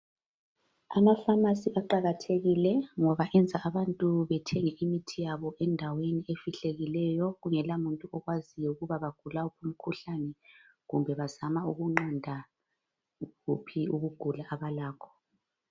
Amapharmacy aqakathekile ngoba enza abantu bethenge imithi yabo endaweni ezifihlakeleyo kungela bantu okwaziyo ukuthi bagula wuphi umkhuhlani kumbe bazama ukunqanda kuphi ukugula abalakho